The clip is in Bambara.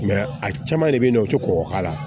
a caman de bɛ ye nɔ o tɛ kɔgɔ k'a la